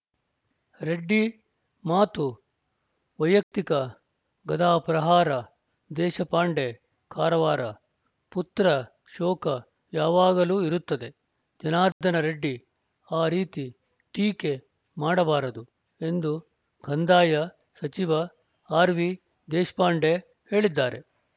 ರೆಡ್ಡಿ ಮಾತು ವೈಯಕ್ತಿಕ ಗದಾಪ್ರಹಾರ ದೇಶಪಾಂಡೆ ಕಾರವಾರ ಪುತ್ರ ಶೋಕ ಯಾವಾಗಲೂ ಇರುತ್ತದೆ ಜನಾರ್ದನ ರೆಡ್ಡಿ ಆ ರೀತಿ ಟೀಕೆ ಮಾಡಬಾರದು ಎಂದು ಕಂದಾಯ ಸಚಿವ ಆರ್‌ವಿದೇಶ್ಪಾಂಡೆ ಹೇಳಿದ್ದಾರೆ